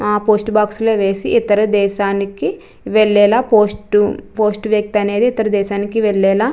ఆ post box లో వేసి ఇతర దేశానికీ వెళ్లేలా చేస్తది పోస్టు . పోస్టు వ్యక్తి అనేది ఇతర దేశానికీ వెళ్లేలా --